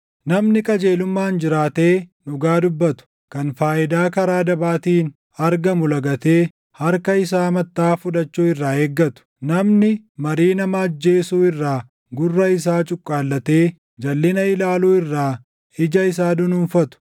Namni qajeelummaan jiraatee dhugaa dubbatu, kan faayidaa karaa dabaatiin argamu lagatee harka isaa mattaʼaa fudhachuu irraa eeggatu, namni marii nama ajjeesuu irraa gurra isaa cuqqaallatee jalʼina ilaaluu irraa ija isaa dunuunfatu,